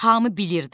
Hamı bilirdi.